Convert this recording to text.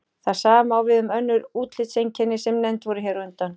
Það sama á við um önnur útlitseinkenni sem nefnd voru hér á undan.